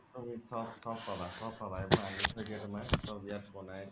চ্'ব চ্'ব পাবা, চ্'ব পাবা এইবোৰ তুমাৰ চ্'ব ইয়াত বনাই